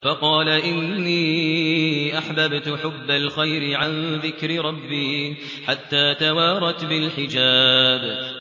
فَقَالَ إِنِّي أَحْبَبْتُ حُبَّ الْخَيْرِ عَن ذِكْرِ رَبِّي حَتَّىٰ تَوَارَتْ بِالْحِجَابِ